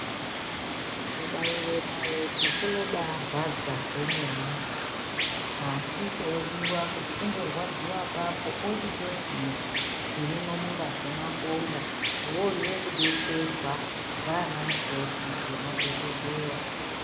Kubaiwa naiti zvinobarwadza zvemene asi chodiwa kuti ungorwadziwa ipapo ochitoziva zvirimwo mungazi mwakomo uone kudetserwa ndana mukoti nemadhokodheya.